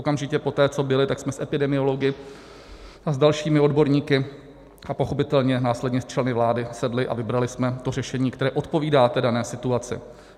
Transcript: Okamžitě poté, co byly, tak jsme s epidemiology a s dalšími odborníky a pochopitelně následně s členy vlády sedli a vybrali jsme to řešení, které odpovídá té dané situaci.